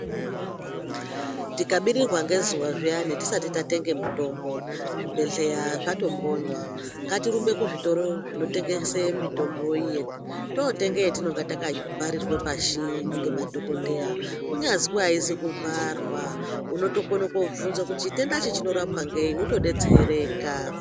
Tikabirirwa nezuwa zviyani tisati tatenge mitombo zvibhehleya zvatombonywa, ngatirumbe kuzvitoro zvinotengesa mitombo totenge yatinenge takabharirwa pashi nemadhokodheya kunyazi ayizi kubharwa unotone kovhinza kuti chitenda ichi chinorapwa ngei wotodetsereka.